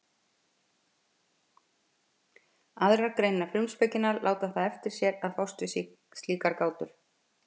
Aðrar greinar frumspekinnar láta það eftir sér að fást við slíkar gátur.